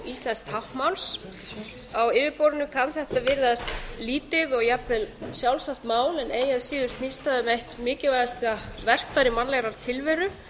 íslensks táknmáls á yfirborðinu kann þetta að virðast lítið og jafnvel sjálfsagt mál en eigi að síður eitt mikilvægasta verkfæri mannlegrar tilveru